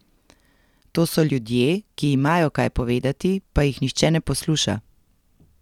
To so ljudje, ki imajo kaj povedati, pa jih nihče ne posluša.